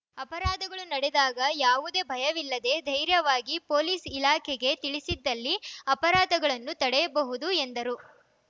ಅಪರಾಧಗಳು ನಡೆದಾಗ ಯಾವುದೇ ಭಯವಿಲ್ಲದೇ ಧೈರ್ಯವಾಗಿ ಪೊಲೀಸ್‌ ಇಲಾಖೆಗೆ ತಿಳಿಸಿದ್ದಲ್ಲಿ ಅಪರಾಧಗಳನ್ನು ತಡೆಯಬಹುದು ಎಂದರು